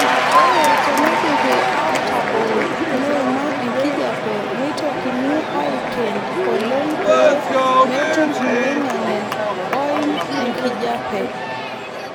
Ore teneidipi aatabol meima enkijape neitokini aaiken oleng pee metum iloing'ang'en ooim enkijape.